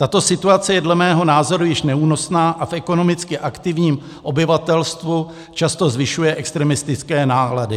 Tato situace je dle mého názoru již neúnosná a v ekonomicky aktivním obyvatelstvu často zvyšuje extremistické nálady.